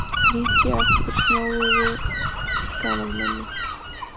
Líki eftir snjóugu gamalmenni.